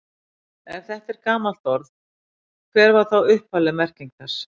Ef þetta er gamalt orð, hver var þá upphafleg merking þess?